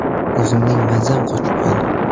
O‘zimning mazam qochib qoldi.